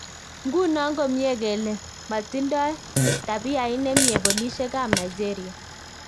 Nguno komye kele matindoi tapiait nemie polisiek ab Nigeria